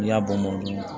N'i y'a bɔ mɔnna